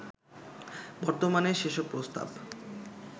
বর্তমানে সেসব প্রস্তাব